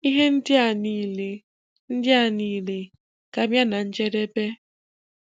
Ihe ndị a niile ndị a niile ga-abịa na njedebe.